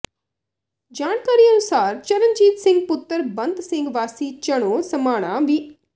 ਜਾਣਕਾਰੀ ਅਨੁਸਾਰ ਚਰਨਜੀਤ ਸਿੰਘ ਪੁੱਤਰ ਬੰਤ ਸਿੰਘ ਵਾਸੀ ਚੰਨੋਂ ਸਮਾਣਾ ਵਿ